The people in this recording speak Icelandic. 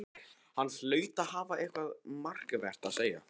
Hann hlaut að hafa eitthvað markvert að segja.